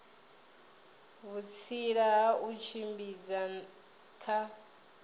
vhutsila ha u tshimbidza kha